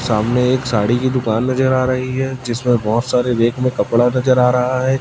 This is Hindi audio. सामने एक साड़ी की दुकान नजर आ रही है जिसमें बहुत सारे रेक में कपड़ा नजर आ रहा है।